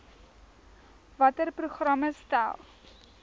watter programme stel